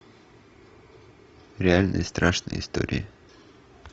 реально страшные истории